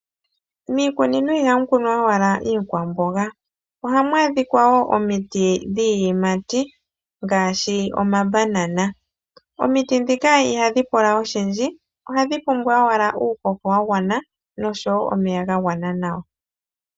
Miikunino iha mu kunwa owala iikwamboga, oha mu adhika wo omiti dhiiyimati ngaashi omabanana. Omiti ndhika ihadhi pula oshindji, ohadhi pumbwa owala uuhoho wa gwana, nosho wo omeya ga gwana nawa.